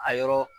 A yɔrɔ